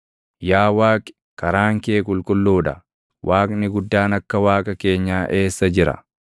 Yaa Waaqi, karaan kee qulqulluu dha. Waaqni guddaan akka Waaqa keenyaa eessa jira?